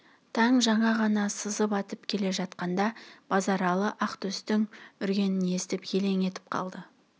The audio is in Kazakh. таң жаңа ғана сызып атып келе жатқанда базаралы ақтөстің үргенін естіп елең етіп қалды